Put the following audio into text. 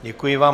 Děkuji vám.